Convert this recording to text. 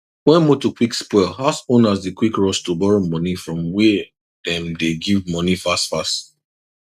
when motor quick spoil house owners dey quick rush to borrow money from were dem dey give money fast fast